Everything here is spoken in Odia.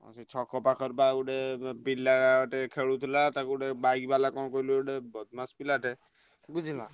ସେଇ ଛକ ପାଖରେ ବା ଗୋଟେ ପିଲାଟେ ଖେଳୁଥିଲା ତାକୁ ଗୋଟେ bike ବାଲା କଣ କହିଲୁ ଗୋଟେ ବଦମାସ ପିଲାଟେ ବୁଝିଲୁ।